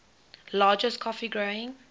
largest coffee growing